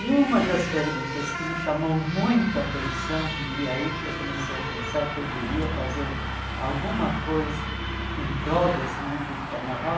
E uma das perguntas que me chamou muito a atenção e aí que eu comecei a pensar que eu devia fazer alguma coisa em prol desse mundo do carnaval,